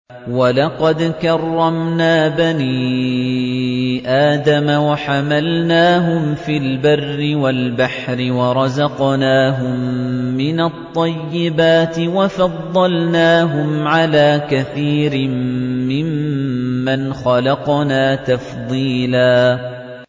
۞ وَلَقَدْ كَرَّمْنَا بَنِي آدَمَ وَحَمَلْنَاهُمْ فِي الْبَرِّ وَالْبَحْرِ وَرَزَقْنَاهُم مِّنَ الطَّيِّبَاتِ وَفَضَّلْنَاهُمْ عَلَىٰ كَثِيرٍ مِّمَّنْ خَلَقْنَا تَفْضِيلًا